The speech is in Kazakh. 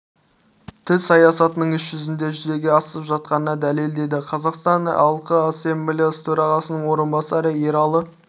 тіл саясатының іс жүзінде жүзеге асып жатқанына дәлел деді қазақстан іалқы ассамблеясы төрағасының орынбасары ералы